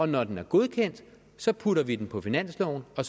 når den er godkendt så putter vi den på finansloven og